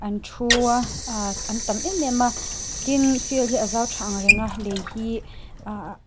an thu a ahh an tam em em a tin field hi a zau tha ang reng a lei hi ahh--